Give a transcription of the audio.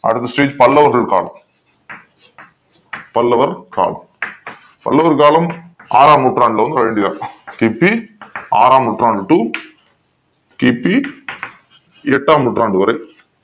அடுத்த stage பல்லவர்கள் காலம் பல்லவர் காலம் பல்லவன் காலம் ஆறாம் நூற்றாண்டில் வந்து கிபி ஆறாம் நூற்றாண்டு to கிபி எட்டாம் நூற்றாண்டு வரை